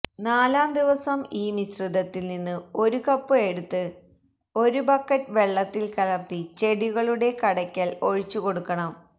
നാലാം ദിവസം ഈ മിശ്രിതത്തിൽ നിന്ന് ഒരു കപ്പ് എടുത്ത് ഒരു ബക്കറ്റ് വെള്ളത്തിൽ കലർത്തി ചെടികളുടെ കടയ്ക്കൽ ഒഴിച്ചുകൊടുക്കണം